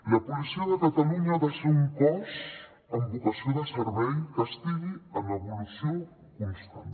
la policia de catalunya ha de ser un cos amb vocació de servei que estigui en evolució constant